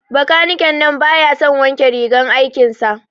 Bakaniken nan baya son wanke rigar aikin sa.